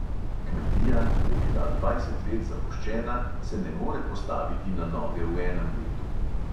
Kmetija, ki je bila dvajset let zapuščena, se ne more postaviti na noge v enem letu.